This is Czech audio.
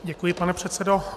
Děkuji, pane předsedo.